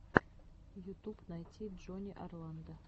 ютуб найти джонни орландо